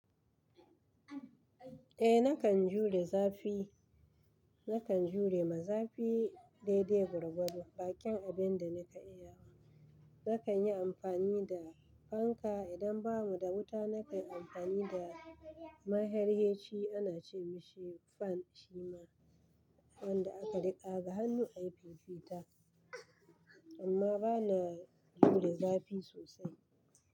Eh nakan jure zafi, nakan jure maza fi daidai gwargwadon bakin abinda nika iya. Nakan yi amfani da fanka idan bamu da wuta nakan yi amfani da maherheci ana ce mashi fan shima wanda aka rika ga hannu a yi fifita amma bana jure zafi sosai.